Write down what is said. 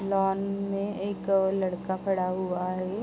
Lawn में एक लड़का खड़ा हुआ है।